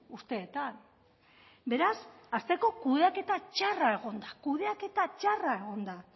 urteetan beraz hasteko kudeaketa txarra egon da kudeaketa txarra egon da